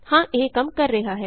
ਹਾਂ ਇਹ ਕੰਮ ਕਰ ਰਿਹਾ ਹੈ